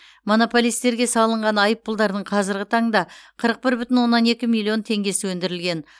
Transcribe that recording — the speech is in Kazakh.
монополистерге салынған айыппұлдардың қазіргі таңда қырық бір бүтін оннан екі миллион теңгесі өндірілген